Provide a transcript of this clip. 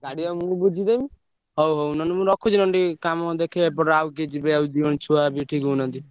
ଗାଡି ବା ମୁଁ ବୁଝିଦେବି ହଉ ହଉ ମୁଁ ରଖୁଛି ଆଡେ ଟିକେ କାମ ଅଛି ଆଉ କିଏ ଯିବେ ଛୁଆ ।